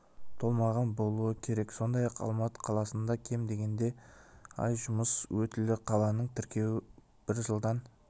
толмаған болуы керек сондай-ақ алматы қаласында кем дегенде ай жұмыс өтілі қаланың тіркеуі бір жылдан